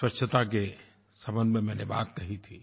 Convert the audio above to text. स्वच्छता के संबंध में मैंने बात कही थी